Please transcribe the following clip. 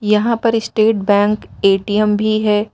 यहां पर state bank ATM भी है।